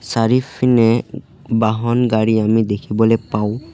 চাৰিফিনে উ উ বাহন গাড়ী আমি দেখিবলৈ পাওঁ।